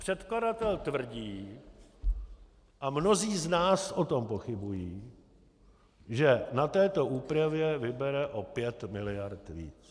Předkladatel tvrdí, a mnozí z nás o tom pochybují, že na této úpravě vybere o 5 miliard víc.